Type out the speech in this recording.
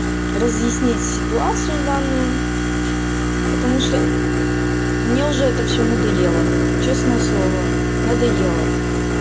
разъяснить ситуацию данную потому что мне уже это всё надоело честное слово надоело